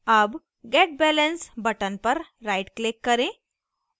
अब get balance button पर rightclick करें